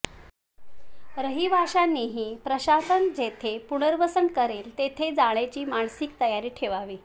रहिवाशांनीही प्रशासन जेथे पुनर्वसन करेल तेथे जाण्याची मानसिक तयारी ठेवावी